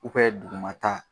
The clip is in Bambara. U bɛ dugumata